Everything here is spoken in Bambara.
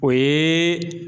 O ye